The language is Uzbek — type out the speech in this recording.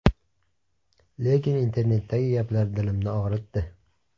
Lekin internetdagi gaplar dilimni og‘ritdi.